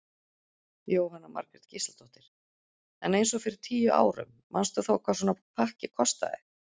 Jóhanna Margrét Gísladóttir: En eins og fyrir tíu árum manstu þá hvað svona pakki kostaði?